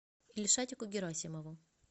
ильшатику герасимову